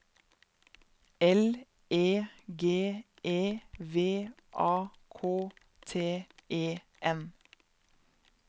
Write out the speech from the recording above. L E G E V A K T E N